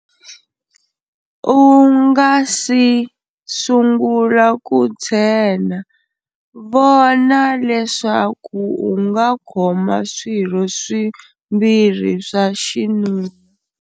U nga si sungula ku tshena, vona leswaku u nga khoma swirho swimbirhi swa xinuna.